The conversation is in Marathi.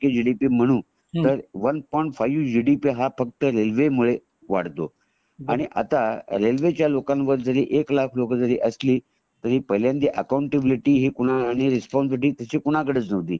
जी डी पी म्हणू तर one point five G D P हा तर फक्त रेल्वे मुळे वाढतो आता रेल्वे च्या लोकानी जारी एक लाख लोक जारी असली तरी पहिल्यांदा तरी पहिल्यांदा अकाऊंटेबईलीटी आणि रेस्पॉन्सिबिलिटी त्याची कोणकडेच नव्हती